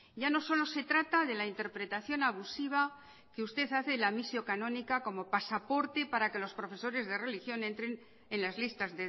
ya no solo se trata de la interpretación abusiva que usted hace del misio canónica como pasaporte para que los profesores de religión entren en las listas